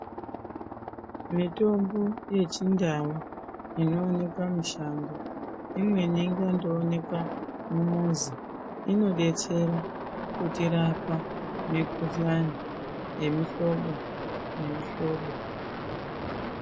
Mitombo yechindau inonekwa mishango. Imweni inondoonekwa mumuzi imweni inobetsera kutirapa mikuhlani yemihlobo nemihlobo.